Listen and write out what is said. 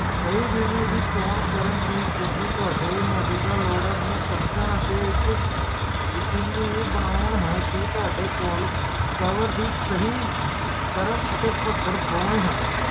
ਓਹਦੇ ਬਾਅਦ ਜਦੋ ਓਹਦੇ ਆਪਣੇ